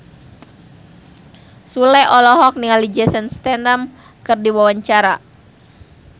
Sule olohok ningali Jason Statham keur diwawancara